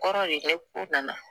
Kɔrɔ de nana